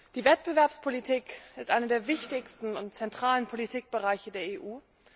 Die Wettbewerbspolitik ist eine der wichtigsten und zentralen Politikbereiche der EU.